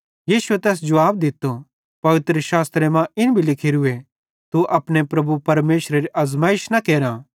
यीशु तैस जुवाब दित्तो पवित्रशास्त्रे मां इन भी लिखोरूए तू अपने प्रभु परमेशरेरी आज़माइश न केरां